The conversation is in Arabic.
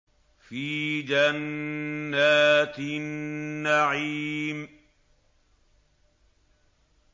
فِي جَنَّاتِ النَّعِيمِ